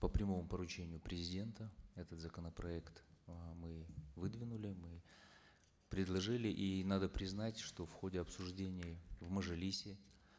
по прямому поручению президента этот законопроект э мы выдвинули мы предложили и надо признать что в ходе обсуждения в мажилисе